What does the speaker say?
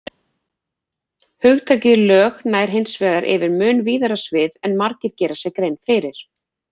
Hugtakið lög nær hins vegar yfir mun víðara svið en margir gera sér grein fyrir.